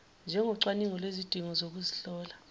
njengocwaningo lwezidingo zokuzihlola